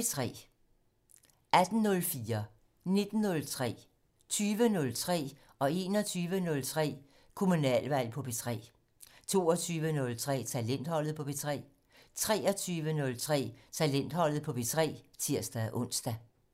18:04: Kommunalvalg på P3 19:03: Kommunalvalg på P3 20:03: Kommunalvalg på P3 21:03: Kommunalvalg på P3 22:03: Talentholdet på P3 23:03: Talentholdet på P3 (tir-ons)